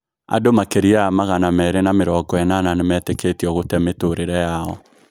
Andũ makĩria ya magana mĩrĩ na mĩrongo enana nimetekitio gũtee mĩtũrĩre yao.